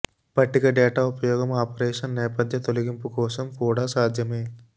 పట్టిక డేటా ఉపయోగం ఆపరేషన్ నేపథ్య తొలగింపు కోసం కూడా సాధ్యమే